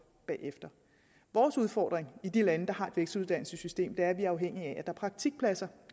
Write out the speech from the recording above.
bagefter vores udfordring i de lande der har et vekseluddannelsessystem er at vi er afhængige af at der er praktikpladser